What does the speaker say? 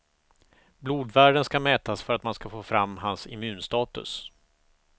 Blodvärden ska mätas för att man ska få fram hans immunstatus.